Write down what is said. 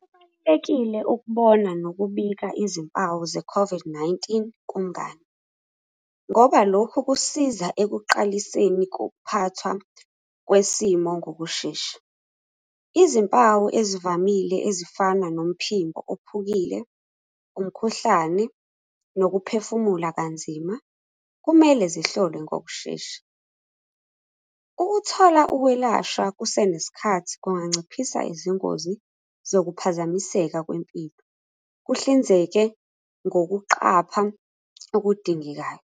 Kubalulekile ukubona nokubika izimpawu ze-COVID-19 kumngani, ngoba lokhu kusiza ekuqaliseni kokuphathwa kwesimo ngokushesha. Izimpawu ezivamile ezifana nomphimbo ophukile, umkhuhlane, nokuphefumula kanzima, kumele zihlolwe ngokushesha. Ukuthola ukwelashwa kusenesikhathi kunganciphisa izingozi zokuphazamiseka kwempilo, kuhlinzeke ngokuqapha okudingekayo,